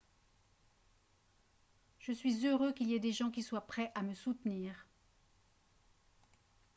je suis heureux qu'il y ait des gens qui soient prêts à me soutenir